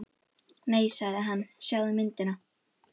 Nei sagði hann, sjáðu myndina.